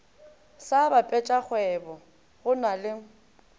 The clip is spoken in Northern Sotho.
sa basepetšakgwebo go na le